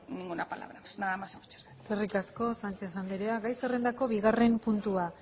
ninguna palabra más nada más y muchas gracias eskerrik asko sánchez andrea gai zerrendako bigarren puntua